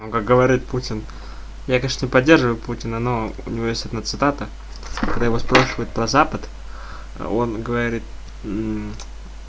ну как говорит путин я конечно не поддерживают путина но у него есть одна цитата когда его спрашивают про запад он говорит